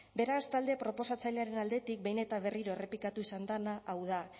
beraz talde proposatzailearen aldetik behin eta berriro errepikatu izan dena hau da